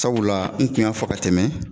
Sabula n tun y'a fɔ ka tɛmɛ